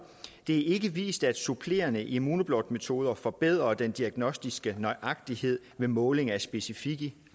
ikke vist at supplerende immunoblot metoder forbedrer den diagnostiske nøjagtighed ved måling af specifikke